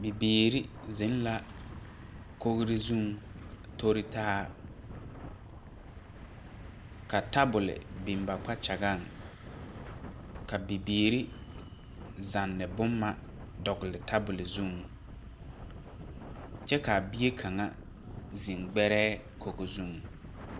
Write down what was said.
Bibiire zeŋ la kogre zuŋ a toritaa ka tabol biŋ ba kpakyagaŋ ka bibiire zanne bomma dɔgle tabole zuŋ kyɛ kaa bie kaŋa zeŋ gbɛrɛɛ koge zuŋ.